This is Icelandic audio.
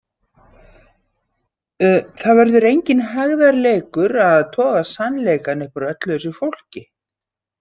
Það verður enginn hægðarleikur að toga sannleikann upp úr öllu þessu fólki.